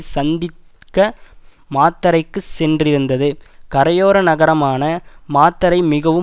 சந்திக்க மாத்தறைக்கு சென்றிருந்தது கரையோர நகரான மாத்தறை மிகவும்